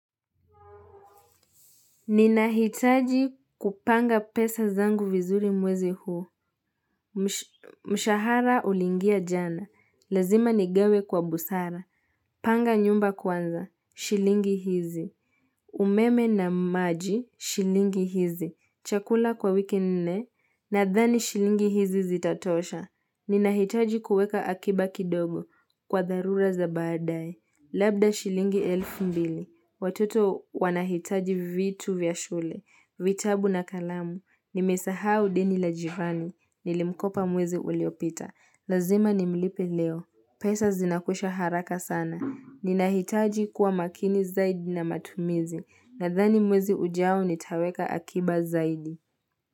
Ninahitaji kupanga pesa zangu vizuri mwezi huu. Mshahara uliingia jana. Lazima nigawe kwa busara. Panga nyumba kwanza. Shilingi hizi. Umeme na maji. Shilingi hizi. Chakula kwa wiki nne. Nadhani shilingi hizi zitatosha. Ninahitaji kuweka akiba kidogo. Kwa dharura za baadae. Labda shilingi elfu mbili. Watoto wanahitaji vitu vya shule. Vitabu na kalamu. Nimesahau deni la jirani. Nilimkopa mwezi uliopita. Lazima nimlipe leo. Pesa zinakwisha haraka sana. Ninahitaji kuwa makini zaidi na matumizi. Nadhani mwezi ujao nitaweka akiba zaidi.